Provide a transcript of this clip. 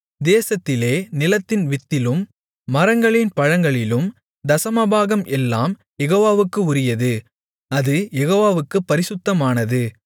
தேசத்திலே நிலத்தின் வித்திலும் மரங்களின் பழங்களிலும் தசமபாகம் எல்லாம் யெகோவாவுக்கு உரியது அது யெகோவாவுக்குப் பரிசுத்தமானது